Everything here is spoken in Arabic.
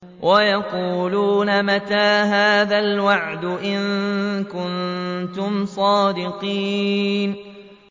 وَيَقُولُونَ مَتَىٰ هَٰذَا الْوَعْدُ إِن كُنتُمْ صَادِقِينَ